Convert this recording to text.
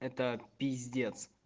это пиздец